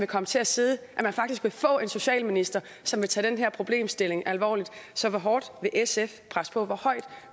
komme til at sidde faktisk vil få en socialminister som vil tage den her problemstilling alvorligt så hvor hårdt vil sf presse på hvor højt